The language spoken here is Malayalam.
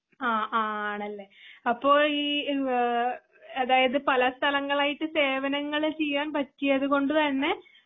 ആ ആണല്ലേ ആപ്പോ ഈ ഏഹ് അതായതു പലസ്ഥലങ്ങളായിട്ട് സേവനങ്ങള് ചെയ്യാൻ പറ്റിയത് കൊണ്ടുതന്നെ